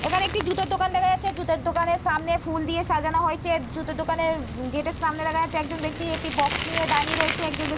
এখানে একটি জুতোর দোকান দেখা যাচ্ছে। জুতোর দোকানের সামনে ফুল দিয়ে সাজানো হয়েছে। জুতোর দোকানের গেট এর সামনে দেখা যাচ্ছে একজন ব্যক্তি বাক্স নিয়ে দাঁড়িয়ে রয়েছে। একজন ব্যক্তি --